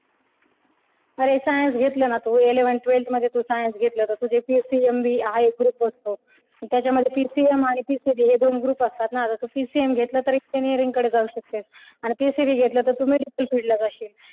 अरे science घेतलं ना तू तर eleventh twelfth मध्ये science घेतलं तू तर तुझे PCMB हा एक group असतो आणि त्याच्यामध्ये PCM आणि PCB हे दोन group असतात ना जस PCM घेतलंस तर engineering कडे जाऊ शकतेस आणि PCB घेतलं तर तू ला जाशील.